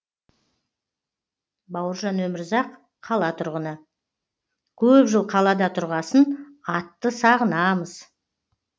бауыржан өмірзақ қала тұрғыны көп жыл қалада тұрғасын атты сағынамыз